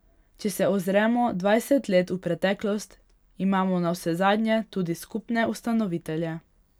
Če se ozremo dvajset let v preteklost, imamo navsezadnje tudi skupne ustanovitelje.